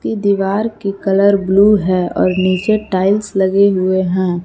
ये दीवार की कलर ब्लू है और नीचे टाइल्स लगे हुए हैं।